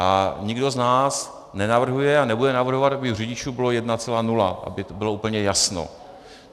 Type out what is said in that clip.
A nikdo z nás nenavrhuje a nebude navrhovat, aby u řidičů bylo 1,0, aby bylo úplně jasno.